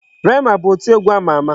Rema bụ oti egwu ama ama.